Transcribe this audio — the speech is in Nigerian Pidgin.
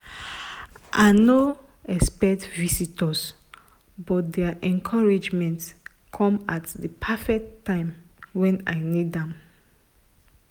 i no expect visitors but their encouragement come at the perfect time when i need am.